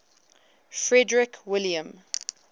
frederick william